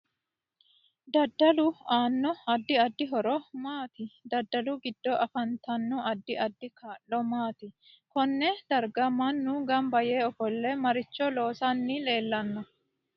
Dadalu aano addi addi horo maati dadalu giddo afantanno addi addi kaa'lo maati konne darga mannu ganba yee ofolle maricho loosani leelanno